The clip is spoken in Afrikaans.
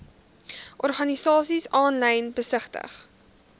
organisasies aanlyn besigtig